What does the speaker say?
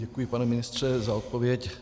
Děkuji, pane ministře, za odpověď.